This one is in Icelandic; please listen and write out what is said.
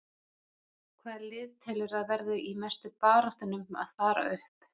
Hvaða lið telurðu að verði í mestu baráttunni um að fara upp?